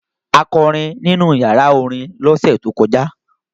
A kọrin nínú ìyàrá-orin lọ́sẹ̀ tó kọjá.